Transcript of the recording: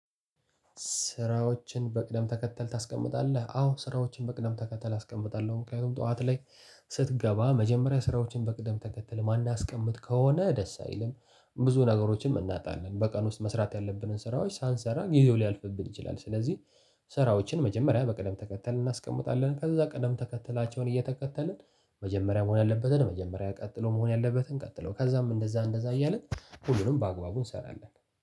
ስራዎችን በቅደም ተከተል ታስቀምጣለህ? አዎ ስራዎችን በቅደም ተከተል አስቀምጣለሁ ምክንያቱም ጠዋት ላይ ስትገባ መጀመሪያ ስራዎችን በቅደም ተከተል ማናስቀምጥ ከሆነ ደስ አይልም። ብዙ ነገሮችንም እናጣለን በቀን ውስጥ መስራት ያለብንን ስራዎች ሳንሰራ ጊዜው ሊያልፍብን ይችላል። ስለዚህ ስራው እናስቀምጣለን ከዛ ቅደም ተከተላቸውን እየተከተልን መጀመሪያ መሆን ያለበትን መጀመሪያ ቀጥሎ መሆን ያለበትን ቀጥሎ ከዛም እንደዛ እንደዛ እያልን ሁሉንም በአግባቡ እንሰራለን።